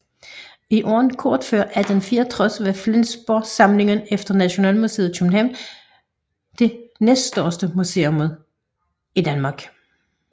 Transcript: I årene kort før 1864 var Flensborgsamlingen efter Nationalmuseet i København det næststørste museum i Danmark